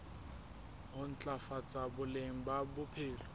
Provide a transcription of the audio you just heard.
ho ntlafatsa boleng ba bophelo